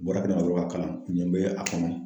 Bɔra kɛnɛma dɔrɔn ka kalan ɲɛn bɛ ye a kɔnɔ.